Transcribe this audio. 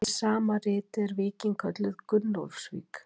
Í sama riti er víkin kölluð Gunnólfsvík.